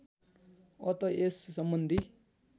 अत यस सम्बन्धी